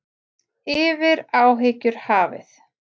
Yfir áhyggjur hafið.